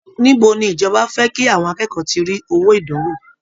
Ìbo ni ìjọba fẹ́ kí àwọn akẹ́kọ̀ọ́ ti rí owó ìdánwò!